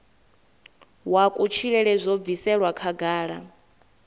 wa kutshilele zwo bviselwa khagala